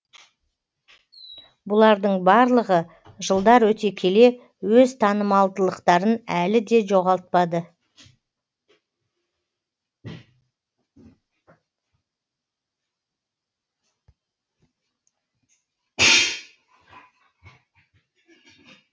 бұлардың барлығы жылдар өте келе өз танымалдылықтарын әлі де жоғалтпады